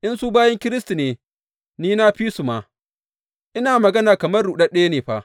In su bayin Kiristi ne, ni na fi su ma, ina magana kamar ruɗaɗɗe ne fa!